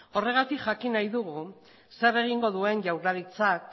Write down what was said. horregatik jakin nahi dugu zer egingo duen jaurlaritzak